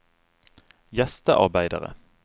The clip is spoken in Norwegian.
gjestearbeidere